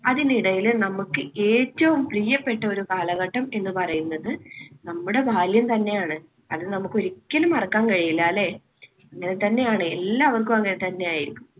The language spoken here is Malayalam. അതിനിടയിൽ നമുക്ക് ഏറ്റവും പ്രിയപ്പെട്ട ഒരു കാലഘട്ടം എന്ന് പറയുന്നത് നമ്മുടെ ബാല്യം തന്നെയാണ്. അത് നമുക്ക് ഒരിക്കലും മറക്കാൻ കഴിയില്ല അല്ലേ? അങ്ങനെ തന്നെയാണ് എല്ലാവർക്കും അങ്ങനെ തന്നെയായിരിക്കും.